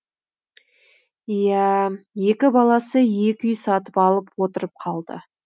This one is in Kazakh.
иә ә екі баласы екі үй сатып алып отырып қалды